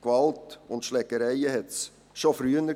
Gewalt und Schlägereien gab es schon früher.